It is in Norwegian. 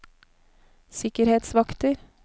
sikkerhetsvakter